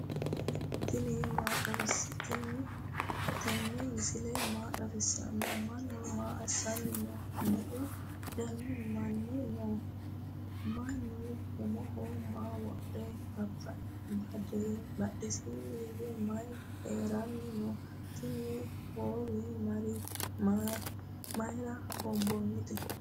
tinni misile maa xawisano? manu maa asanni noho? meu dani maani no?manu umoho maa wodhino? badhensanu hige maayi harani no?tini howe mayira honbonite?